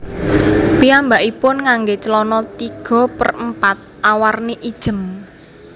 Piyambakipun ngangge celana tiga per empat awarni ijem